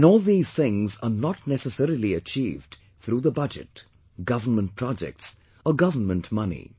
And all these things are not necessarily achieved through the Budget, government projects, or government money